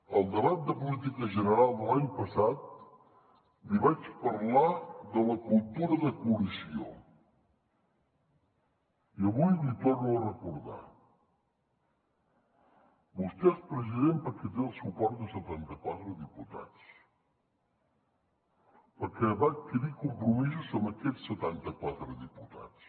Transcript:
al debat de política general de l’any passat li vaig parlar de la cultura de coalició i avui l’hi torno a recordar vostè és president perquè té el suport de setanta quatre diputats perquè va adquirir compromisos amb aquests setanta quatre diputats